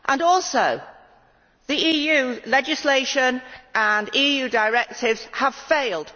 Also, other EU legislation and EU directives have failed.